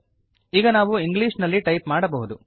ಈಗ ನಾವು ಇಂಗ್ಲಿಷ್ ನಲ್ಲಿ ಟೈಪ್ ಮಾಡಬಹುದು